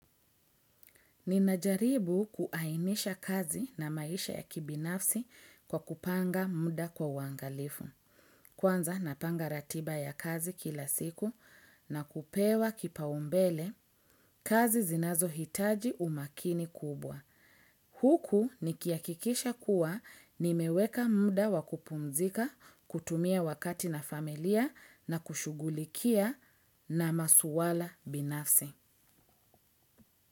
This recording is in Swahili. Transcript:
Ninajaribu kuainisha kazi na maisha ya kibinafsi kwa kupanga muda kwa uwangalifu. Kwanza napanga ratiba ya kazi kila siku na kupewa kipaumbele kazi zinazo hitaji umakini kubwa. Huku nikihakikisha kuwa nimeweka muda wakupumzika kutumia wakati na familia na kushughulikia na masuala binafsi.